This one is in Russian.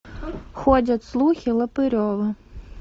ходят слухи лопырева